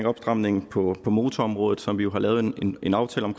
opstramninger på motorområdet som vi jo har lavet en aftale om